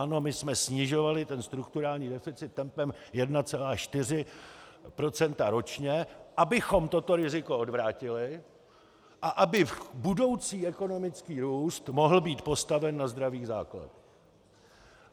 Ano, my jsme snižovali strukturální deficit tempem 1,4 % ročně, abychom toto riziko odvrátili a aby budoucí ekonomický růst mohl být postaven na zdravých základech.